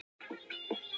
rekaviðinn og allt það.